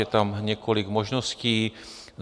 Je tam několik možností.